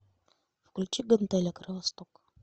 включи гантеля кровосток